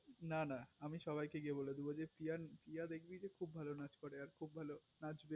না না আমি সবাই কে গিয়ে বলে দেব যে প্রিয়া দেখবি কি খুব ভালো নাচ করে আর খুব ভালো নাচ